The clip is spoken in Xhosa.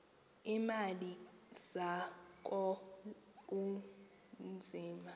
iimali zakho kunzima